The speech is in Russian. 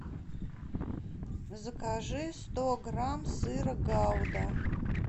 закажи сто грамм сыра гауда